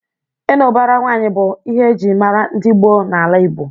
Ịnụ ụbara nwaanyị bụ ihe eji mara ndị gboo na-ala Igbo.